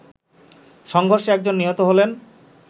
সংঘর্ষে একজন নিহত হলেন